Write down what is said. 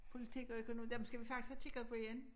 Politik og økonom dem skal vi faktisk have kigget på igen